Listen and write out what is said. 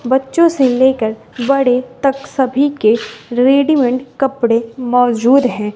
बच्चों से लेकर बड़े तक सभी के रेडी मेड कपड़े मौजूद हैं।